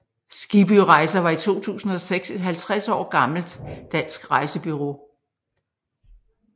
Skibby Rejser var i 2006 et 50 år gammelt dansk rejsebureau